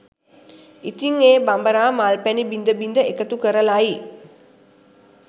ඉතින් ඒ බඹරා මල් පැණි බිඳ බිඳ එකතු කරලයි